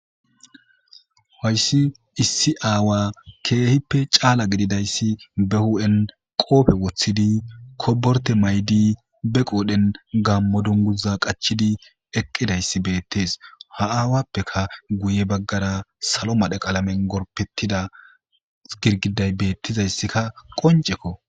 hayssi issi aawa keehippe caala gididayssi be hu7en qoofe woththidi koborte maydi be qoodhen gammo dunguza qachidi eqqidayssi beettees ha aawappeka guye baggara salo madhe qaalamen gorpettida girgiday beettizayssikka qoncekko